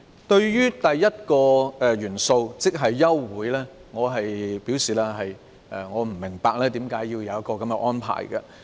對於第一項元素，即休會，我不明白為甚麼要有這項安排。